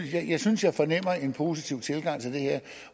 jeg synes jeg fornemmer en positiv tilgang til det her